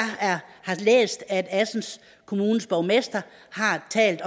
har læst at assens kommunes borgmester har talt